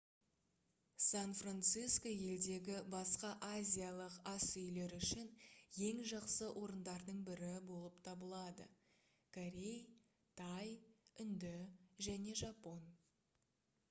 сан-франсиско елдегі басқа азиялық асүйлер үшін ең жақсы орындардың бірі болып табылады корей тай үнді және жапон